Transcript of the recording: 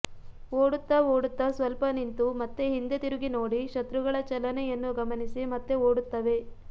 ಓಡುತ್ತಾ ಓಡುತ್ತಾ ಸ್ವಲ್ಪ ನಿಂತು ಮತ್ತೆ ಹಿಂದೆ ತಿರುಗಿ ನೋಡಿ ಶತ್ರುಗಳ ಚಲನೆಯನ್ನು ಗಮನಿಸಿ ಮತ್ತೆ ಓಡುತ್ತವೆ